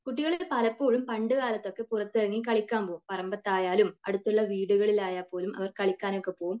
കുട്ടികളൊക്കെ പലപ്പോഴും പണ്ട് കാലത്തൊക്കെ പുറത്തിറങ്ങി കളിക്കാൻ പോകും. പറമ്പത്തായാലും അടുത്തുള്ള വീടുകളിൽ ആയാൽ പോലും കളിക്കാൻ ഒക്കെ പോകും.